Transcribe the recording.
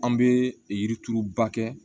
An bɛ yirituruba kɛ